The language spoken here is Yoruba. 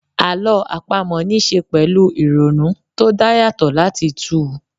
Àlọ́ àpamọ́ ní ṣe pẹ̀lú ìrònú tó dá yàtọ̀ láti túu